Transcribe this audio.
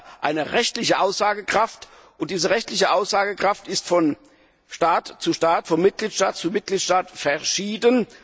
Sie haben ja eine rechtliche Aussagekraft, und diese rechtliche Aussagekraft ist von Mitgliedstaat zu Mitgliedstaat verschieden.